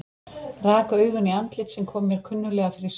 Rak augun í andlit sem kom mér kunnuglega fyrir sjónir.